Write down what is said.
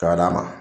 Ka d'a ma